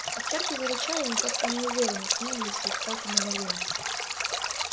овчарки зарычали но как-то неуверенно с ненавистью и страхом одновременно